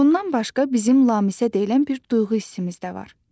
Bundan başqa bizim lamisə deyilən bir duyğu hissimiz də var.